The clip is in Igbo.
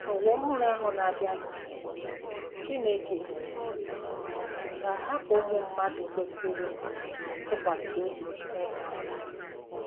N'ụwa ọhụrụ ahụ na-abịanụ, Chineke um ga-ahapụ ụmụ mmadụ kwesịrị ntụkwasị obi n'ịka nká.